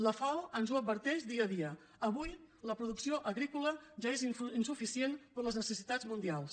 la fao ens ho adverteix dia a dia avui la producció agrícola ja és insuficient per a les necessitats mundials